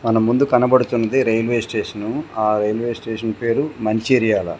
మన ముందు కనబడుతున్నది రైల్వే స్టేషను ఆ రైల్వే స్టేషన్ పేరు మంచిర్యాల.